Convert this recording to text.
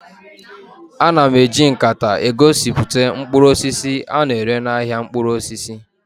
A na-eji nkata egosipụta mkpụrụ osisi a na-ere n'ahịa mkpụrụ osisi